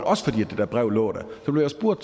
også fordi det her brev lå der blev jeg spurgt